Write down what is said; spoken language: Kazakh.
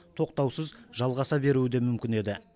тоқтаусыз жалғаса беруі де мүмкін еді